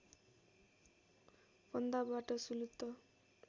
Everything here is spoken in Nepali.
फन्दाबाट सुलुत्त